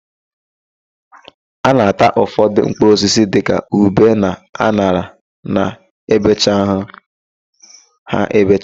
A na-ata ụfọdụ mkpụrụosisi dịka ube na an̄ara na-ebechaghị ha ebecha.